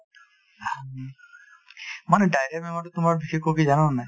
মানে diarrhea বেমাৰতো তোমাৰ বিশেষ জানা নে নাই